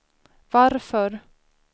varför